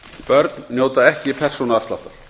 börn njóta ekki persónuafsláttar